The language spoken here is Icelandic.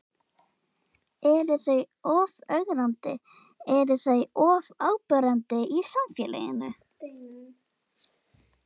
Eru þau of ögrandi, eru þau of áberandi í samfélaginu?